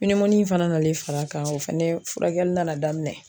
pinimuni in fɛnɛ nalen fara a kan o fɛnɛ furakɛli nana daminɛ